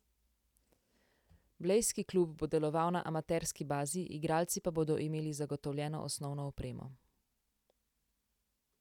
Blejski klub bo deloval na amaterski bazi, igralci pa bodo imeli zagotovljeno osnovno opremo.